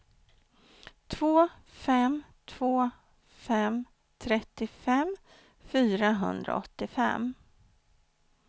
två fem två fem trettiofem fyrahundraåttiofem